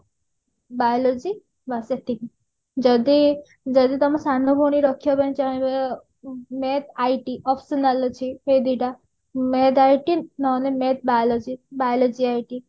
biology ବସ ଏତିକି ଯଦି ଯଦି ତମ ସାନ ଭଉଣୀ ରଖିବା ପାଇଁ ଚାହିଁବ math IT optional ଅଛି ଏଇ ଦୁଇଟା math IT ନହେଲେ math biology biology IT